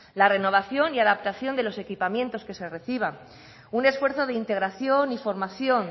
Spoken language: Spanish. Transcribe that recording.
la renovación y adaptación de los equipamientos que se reciban un esfuerzo de integración y formación